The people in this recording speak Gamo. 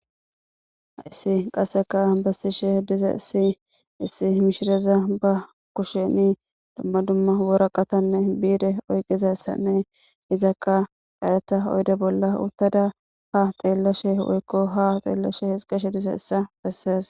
haysi qasseka bessishe dizaysi issi mishireza ba kusheni dumma dumma woraqatanne biide oyqizassanne izakka dayeta oyde bolla uttada ha xeellashe woykko ha xeellashe hixqeshe diza issa bessees